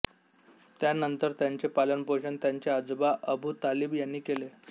त्यानंतर त्यांचे पालनपोषण त्यांचे आजोबा अबू तालिब यांनी केले